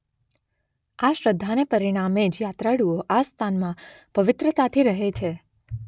આ શ્રદ્ધાને પરિણામે જ યાત્રાળુઓ આ સ્થાનમાં પવિત્રતાથી રહે છે.